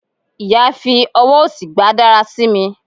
iya fi ọwọ osí gba darasimi